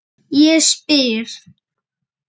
Ég spyr?